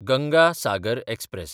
Ganga Sagar express